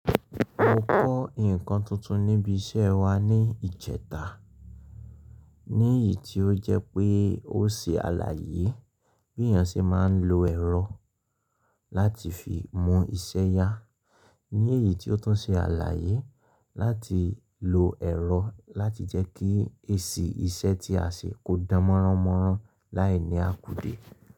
Mo kọ́ nǹkan tuntun níbi iṣẹ́ wa ní ìjẹta, ní iyí tí ó jẹ́ pé ó ṣe àlàyé bí èèyàn ṣe máa ń lo ẹ̀rọ láti fi mú iṣẹ́ yá. Ní èyí tí ó tún ṣe àlàyé láti lo ẹ̀rọ láti jẹ́ kí èsì iṣẹ́ tí a ṣe kó dán mọ́rànmọ́ràn láì ní àkùdè.